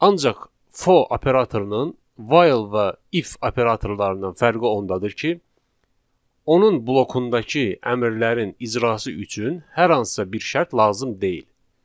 Ancaq for operatorunun while və if operatorlarından fərqi ondadır ki, onun blokundakı əmrlərin icrası üçün hər hansısa bir şərt lazım deyil.